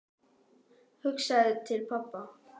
Hugsaði til pabba.